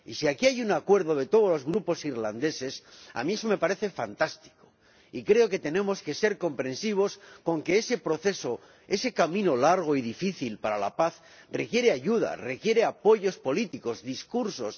Y si aquí hay un acuerdo de todos los grupos irlandeses, a mí me parece fantástico, y creo que tenemos que ser comprensivos con que ese proceso, ese camino largo y difícil para la paz, requiere ayuda, requiere apoyos políticos, discursos